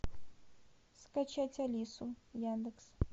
скачать алису яндекс